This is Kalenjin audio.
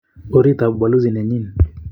Orit ab ubalozi nenyin.